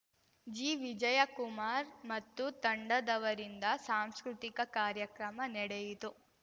ಜಿವಿಜಯಕುಮಾರ್‌ ಮತ್ತು ತಂಡದವರಿಂದ ಸಾಂಸ್ಕೃತಿಕ ಕಾರ್ಯಕ್ರಮ ನೆಡೆಯಿತು